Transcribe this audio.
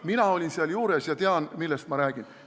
Mina olin seal juures ja tean, millest ma räägin.